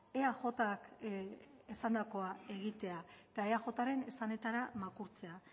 eajk esandakoa egitea eta eajren esanetara makurtzea